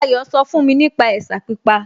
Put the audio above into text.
Ayọ̀ sọ fún mi nípa ẹ̀sà pípa